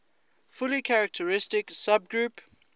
fully characteristic subgroup